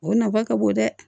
O nafa ka bon dɛ